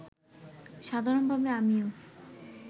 সাধারণভাবে আমিও